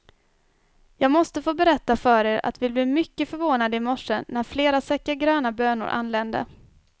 Jag måste få berätta för er, att vi blev mycket förvånade i morse, när flera säckar gröna bönor anlände.